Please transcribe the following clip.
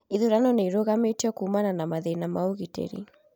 Ithurano nĩ irũgamĩtio kumana na mathĩna ma ũgitĩri